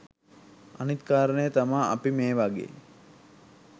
අනිත් කාරණේ තමා අපි මේ වගේ